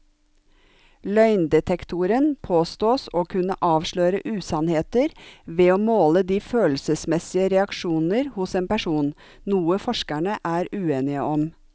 Løgndetektoren påstås å kunne avsløre usannheter ved å måle de følelsesmessige reaksjoner hos en person, noe forskerne er uenige om.